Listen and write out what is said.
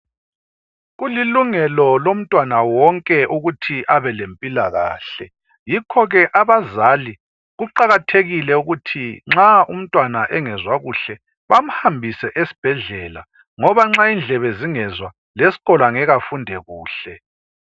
Kulingelo lomntwana wonke ukuthi abelemphilakahle, yikhoke abazali kuqakathekile ukuthi nxa umntwana engezwa kuhle bamhambise esibhedlela. Ngobe nxa indlebe zingezwa leskolo angeke afundi kuhle.